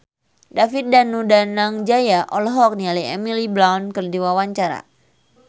David Danu Danangjaya olohok ningali Emily Blunt keur diwawancara